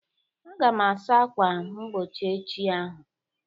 Aga m asa ákwà mgbochi echi ahụ